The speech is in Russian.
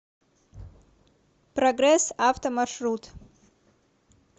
прогресс авто маршрут